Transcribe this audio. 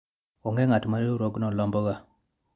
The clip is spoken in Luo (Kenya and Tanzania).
onge ng'at ma riwruogno lomboga